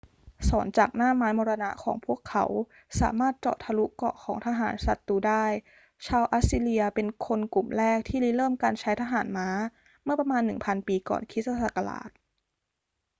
ศรจากหน้าไม้มรณะของพวกเขาสามารถเจาะทะลุเกราะของทหารศัตรูได้ ชาวอัสซีเรียเป็นคนกลุ่มแรกที่ริเริ่มการใช้ทหารม้าเมื่อประมาณ 1000 ปีก่อนคริสต์ศักราช